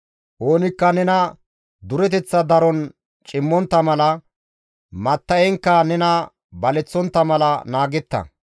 Oonikka nena dureteththa daron cimontta mala; matta7enkka nena baleththontta mala naagetta.